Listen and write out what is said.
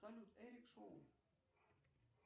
салют эрик шоу